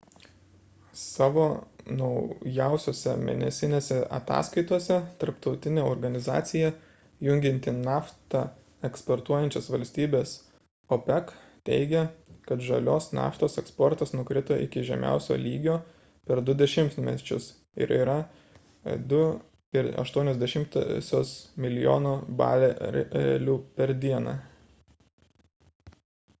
savo naujausiose mėnesinėse ataskaitose tarptautinė organizacija jungianti naftą eksportuojančias valstybes opec teigia kad žalios naftos eksportas nukrito iki žemiausio lygio per du dešimtmečius ir yra 2,8 mln. barelių per dieną